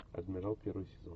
адмирал первый сезон